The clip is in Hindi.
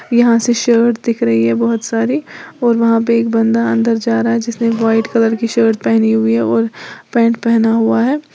यहां से शर्ट दिख रही है बहुत सारी और वहां पर एक बंदा अंदर जा रहा है जिसने व्हाइट कलर की शर्ट पहनी हुई है और पैंट पहना हुआ है।